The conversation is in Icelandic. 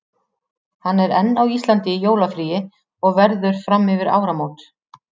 Hann er enn á Íslandi í jólafríi og verður fram yfir áramót.